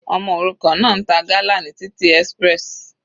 Ọmọ òrukàn náà ń ta gala ní títì express.